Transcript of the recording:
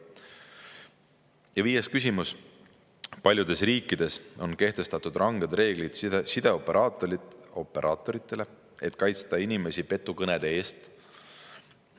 Ja viies küsimus: "Paljudes riikides on kehtestatud ranged reeglid sideoperaatoritele, et kaitsta inimesi petukõnede eest.